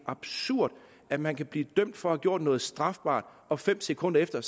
absurd at man kan blive dømt for at have gjort noget strafbart og fem sekunder efter